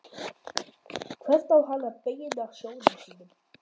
Hvert á hann að beina sjónum sínum?